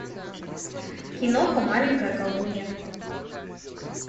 киноха маленькая колдунья